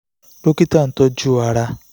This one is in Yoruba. dókítà tó ń tọ́jú ara